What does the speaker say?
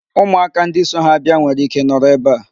Ụmụaka ndị so ha bịa nwere ike nọrọ ebe a.